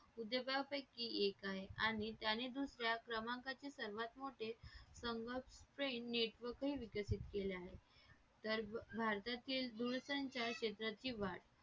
उद्योगापैकी एक आहे आणि त्याने दुसऱ्या क्रमांकातील सर्वात मोठे संगणक network हे विकसित केले आहे तर भारतातील दूरसंचार क्षेत्रातील वाढ